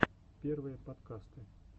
первые подкасты